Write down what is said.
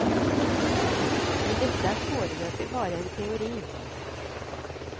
Men dette er foreløpig bare en teori.